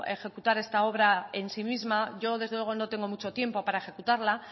ejecutar esta obra en sí misma yo desde luego no tengo mucho tiempo para ejecutarla